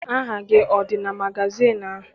Aha gị adị na magazịịnụ ahụ?